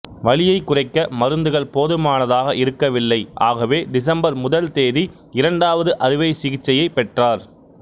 வலியைக் குறைக்க மருந்துகள் போதுமானதாக இருக்கவில்லை ஆகவே டிசம்பர் முதல் தேதி இரண்டாவது அறுவைசிகிச்சையைப் பெற்றார்